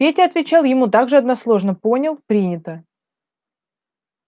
петя отвечал ему так же односложно понял принято